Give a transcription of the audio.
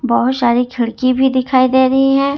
बहोत सारी खिड़की भी दिखाई दे रही है।